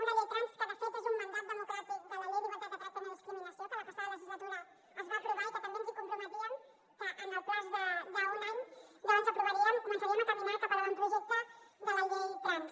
una llei trans que de fet és un mandat democràtic de la llei per a la igualtat de tracte i la no discriminació que la passada legislatura es va aprovar i que també ens comprometíem que en el termini d’un any aprovaríem començaríem a caminar cap a l’avantprojecte de la llei trans